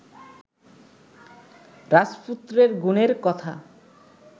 রাজপুত্রের গুণের কথা